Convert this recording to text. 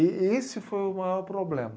E esse foi o maior problema.